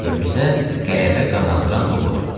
və bizə qələbə qazandıran da odur.